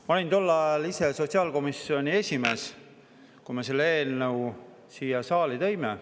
Ma ise olin tol ajal sotsiaalkomisjoni esimees, kui me selle eelnõu siia saali tõime.